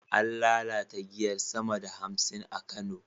An lalata giyar sama da hamsin a Kano